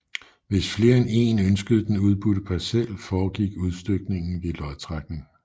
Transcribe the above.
Hvis flere end èn ønskede den udbudte parcel foregik udstykningen ved lodtrækning